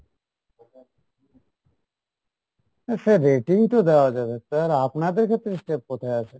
হ্যাঁ সে rating তো দেওয়া যাবে, এবার আপনাদের ক্ষেত্রে step কোথায় আছে?